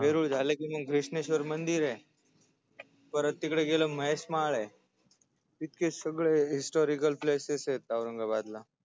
हा वेरुळ झाल की मग घृण्श्वेर मंदीरय परत तिकडे गेल की महेश माळय इतके सगळे HISTORICAL PLACESES यत औरंगाबादला